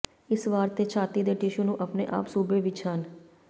ਇਸ ਵਾਰ ਤੇ ਛਾਤੀ ਦੇ ਟਿਸ਼ੂ ਨੂੰ ਆਪਣੇ ਆਮ ਸੂਬੇ ਵਿਚ ਹਨ